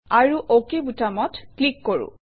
আৰু অক বুটামত ক্লিক কৰোঁ